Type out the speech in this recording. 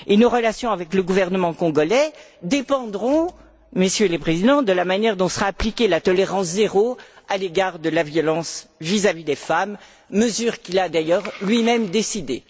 Et nos relations avec le gouvernement congolais dépendront, Messieurs les Présidents, de la manière dont sera appliquée la tolérance zéro à l'égard de la violence vis à vis des femmes, mesure qu'il a d'ailleurs lui même décidée.